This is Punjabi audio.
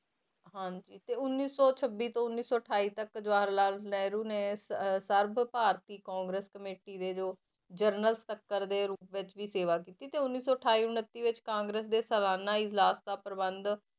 ਹਾਂਜੀ ਤੇ ਉੱਨੀ ਸੌ ਛੱਬੀ ਤੋਂ ਉੱਨੀ ਅਠਾਈ ਤੱਕ ਜਵਾਹਰ ਲਾਲ ਨੇ ਸ~ ਸਰਬ ਭਾਰਤੀ ਕਾਂਗਰਸ ਕਮੇਟੀ ਦੇ ਜੋ ਜਨਰਲ ਸਕੱਤਰ ਦੇ ਰੂਪ ਵਿੱਚ ਵੀ ਸੇਵਾ ਕੀਤੀ, ਤੇ ਉੱਨੀ ਸੌ ਅਠਾਈ ਉਣੱਤੀ ਵਿੱਚ, ਕਾਂਗਰਸ ਦੇ ਸਲਾਨਾ ਇਜਲਾਸ ਦਾ ਪ੍ਰਬੰਧ